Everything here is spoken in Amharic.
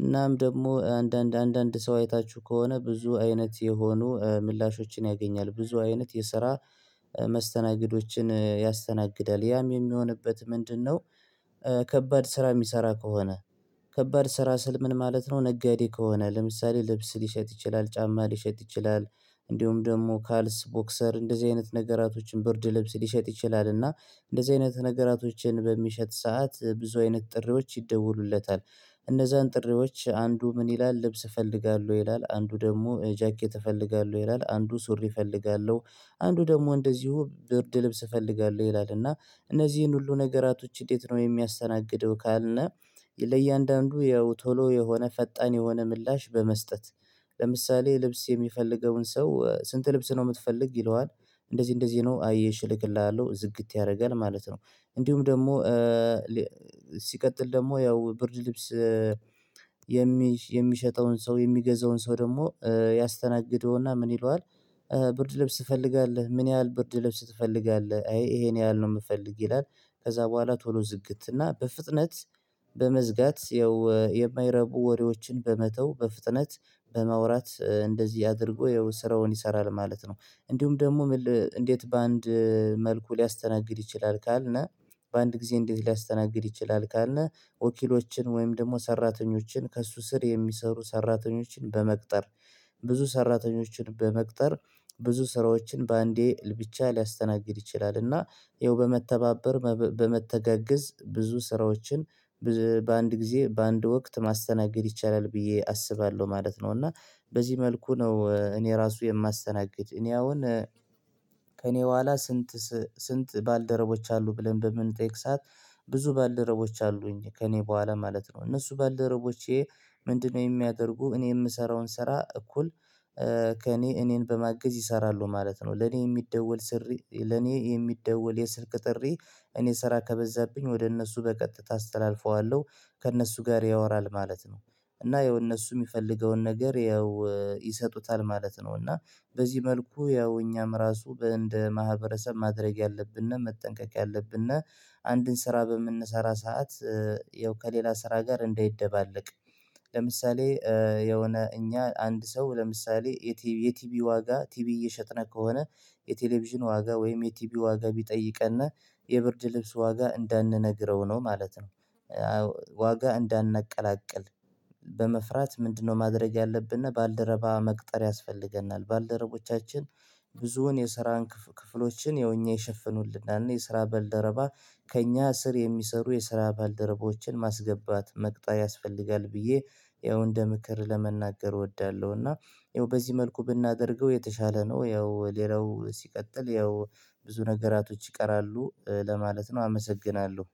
እናም ደግሞ አንዳንድ አንዳንድ ሰው አይታችሁ ከሆነ ብዙ አይነት የሆኑ ምላሾችን ያገኛል ብዙ አይነት የስራ መስተናግዶችን ያስተናግዳል ያም የሚሆንበት ምንድነው ከባድ ስራ የሚሰራ ከሆነ ከባድ ስራ ስል ምን ማለት ነው ነጋዴ ከሆነ ለምሳሌ ልብስ ሊሸጥ ይችላል ጫማ ሊሸጥ ይችላል እንዲሁም ደግሞ ካልስ ቦክሰር እንደዚህ አይነት ነገራቶችን በርድ ልብስ ሊሸጥ ይችላል እና እንደዚህ አይነት ነገራቶችን በሚሸጥ ሰዓት ብዙ አይነት ጥሪዎች ይደወሉለታል እነዛን ጥሪዎች አንዱ ምን ይላል ልብስ እፈልጋለሁ ይላል አንዱ ደግሞ ጃኬት እፈልጋለሁ ይላል አንዱ ሱሪ እፈልጋለሁ አንዱ ደግሞ እንደዚሁ ብርድ ልብስ እፈልጋለሁ ይላል እና እነዚህን ሁሉ ነገራቶች እንዴት ነው የሚያስተናግደው ካልን ለእያንዳንዱ ያው ቶሎ የሆነ ፈጣን የሆነ ምላሽ በመስጠት ለምሳሌ ልብስ የሚፈልገውን ሰው ስንት ልብስ ነው የምትፈልግ ይለዋል እንደዚህ እንደዚህ ነው አይ እሺ እልክልሃለሁ ዝግት ያደርጋል ማለት ነው እንዲሁም ደግሞ ሲቀጥል ደግሞ ያው ብርድ ልብስ የሚሸጠውን ሰው የሚገዛውን ሰው ደግሞ ያስተናግደውና ምን ይለዋል ብርድ ልብስ ትፈልጋለህ ምን ያህል ብርድ ልብስ ትፈልጋለህ አይ ይሄን ያህል ነው የምፈልግ ይላል ከዛ በኋላ ቶሎ ዝግት እና በፍጥነት በመዝጋት የማይረቡ ወሬዎችን በመተው በፍጥነት በማውራት እንደዚህ አድርጎ ያው ስራውን ይሰራል ማለት ነው እንዲሁም ደግሞ እንዴት በአንድ መልኩ ሊያስተናግድ ይችላል ካልነ በአንድ ጊዜ እንዴት ሊያስተናግድ ይችላል ካልነ ወኪሎችን ወይም ደግሞ ሰራተኞችን ከእሱ ስር የሚሰሩ ሰራተኞችን በመቅጠር ብዙ ሰራተኞችን በመቅጠር ብዙ ስራዎችን በአንዴ ብቻ ሊያስተናግድ ይችላልና ይኸው በመተባበር በመተጋገዝ ብዙ ስራዎችን በአንድ ጊዜ በአንድ ወቅት ማስተናገድ ይቻላል ብዬ አስባለሁ ማለት ነው እና በዚህ መልኩ ነው እኔ ራሱ የማስተናግድ እኔ አሁን ከእኔ በኋላ ስንት ስንት ባልደረቦች አሉ ብለን በምንጠይቅ ሰዓት ብዙ ባልደረቦች አሉኝ ከእኔ በኋላ ማለት ነው እነሱ ባልደረቦቼ ምንድነው የሚያደርጉ እኔ የምሰራውን ስራ እኩል ከእኔ እኔን በማገዝ ይሰራሉ ማለት ነው ለኔ የሚደወል ስሪ ለኔ የሚደወል የስልክ ጥሪ እኔ ስራ ከበዛብኝ ወደ እነሱ በቀጥታ አስተላልፈዋለሁ ከእነሱ ጋር ያወራል ማለት ነው እና የእነሱ የሚፈልገውን ነገር ያው ይሰጡታል ማለት ነው እና በዚህ መልኩ ያው እኛም ራሱ እንደ ማህበረሰብ ማድረግ ያለብንና መጠንቀቅ ያለብን አንድን ስራ በምንሰራ ሰዓት ያው ከሌላ ስራ ጋር እንዳይደባለቅ ለምሳሌ የሆነ እኛ አንድ ሰው ለምሳሌ የቲቪ ዋጋ ቲቪ እየሸጥን ከሆነ የቴሌቪዥን ዋጋ ወይም የቲቪ ዋጋ ቢጠይቀን የብርድ ልብስ ዋጋ እንዳንነግረው ነው ማለት ነው ዋጋ እንዳናቀላቅል በመፍራት ምንድነው ማድረግ ያለብን ባልደረባ መቅጠር ያስፈልገናል ባልደረቦቻችን ብዙውን የስራን ክፍሎችን የሆኜ የሸፈኑልናል የስራ ባልደረባ ከእኛ ስር የሚሰሩ የስራ ባልደረባዎችን ማስገባት መቅጠር ያስፈልጋል ብዬ ያው እንደ ምክር ለመናገር እወዳለሁ እና ያው በዚህ መልኩ ብናደርገው የተሻለ ነው ያው ሌላው ሲቀጥል ያው ብዙ ነገራቶች ይቀራሉ ለማለት ነው አመሰግናለሁ